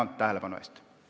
Tänan tähelepanu eest!